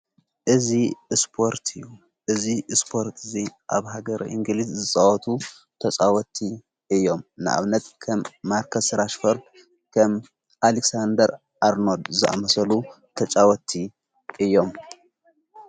እዝ እስጶርት እዩ እዝ እስጶርት እዙይ ኣብ ሃገር እንግሊዝ ዝጸወቱ ተፃወቲ እዮም ንኣብነት ከም ማርከስ ራሽፈርድ ከም ኣሌግንደር ኣርኖድ ዝመሰሉ ተጫወቲ እዮም